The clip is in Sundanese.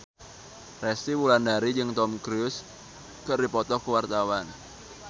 Resty Wulandari jeung Tom Cruise keur dipoto ku wartawan